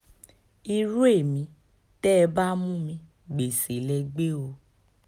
irú ẹ̀mí tẹ́ ẹ bá mú mi gbéṣẹ́ lè gbé o